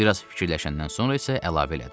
Bir az fikirləşəndən sonra isə əlavə elədi.